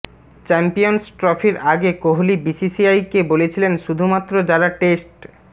champions ট্রফির আগে কোহলি বিসিসিআইকে বলেছিলেন শুধুমাত্র যারা টেস্ট